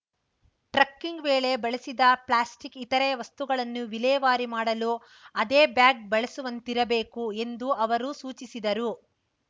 trekking ವೇಳೆ ಬಳಸಿದ plastic ಇತರೆ ವಸ್ತುಗಳನ್ನು ವಿಲೇವಾರಿ ಮಾಡಲು ಅದೇ ಬ್ಯಾಗ್‌ ಬಳಸುವಂತಿರಬೇಕು ಎಂದು ಅವರು ಸೂಚಿಸಿದರು